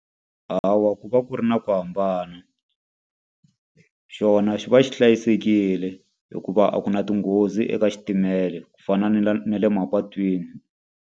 Hawa ku va ku ri na ku hambana. Xona xi va xi hlayisekile hikuva a ku na tinghozi eka xitimela ku fana na le na le mapatwini.